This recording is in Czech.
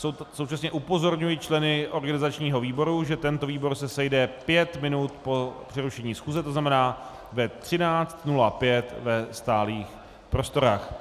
Současně upozorňuji členy organizačního výboru, že tento výbor se sejde pět minut po přerušení schůze, to znamená ve 13.05 ve stálých prostorách.